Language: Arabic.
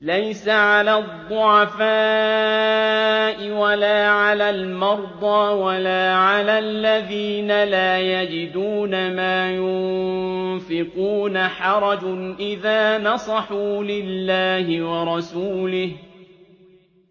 لَّيْسَ عَلَى الضُّعَفَاءِ وَلَا عَلَى الْمَرْضَىٰ وَلَا عَلَى الَّذِينَ لَا يَجِدُونَ مَا يُنفِقُونَ حَرَجٌ إِذَا نَصَحُوا لِلَّهِ وَرَسُولِهِ ۚ